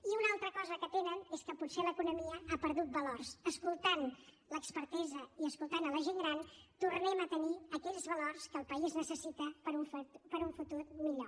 i una altra cosa que tenen és que potser l’economia ha perdut valors escoltant l’expertesa i escoltant la gent gran tornem a tenir aquells valors que el país necessita per a un futur millor